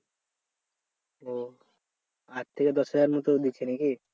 ও আট থেকে দশ হাজারের মতো দিচ্ছে নাকি?